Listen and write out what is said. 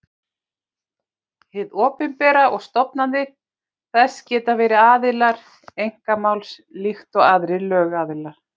Hið opinbera og stofnanir þess geta verið aðilar einkamáls líkt og aðrir lögaðilar.